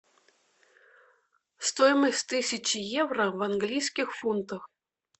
стоимость тысячи евро в английских фунтах